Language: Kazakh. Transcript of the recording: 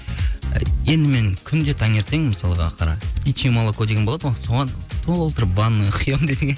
енді мен күнде таңертең мысалға қара птичий молоко деген болады ғой соған толтырып ванный құямын десең